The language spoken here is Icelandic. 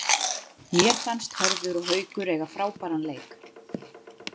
Mér fannst Hörður og Haukur eiga frábæran leik.